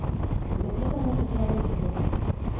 так что там на счёт шавухи то